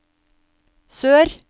sør